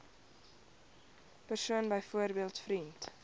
persoon byvoorbeeld vriend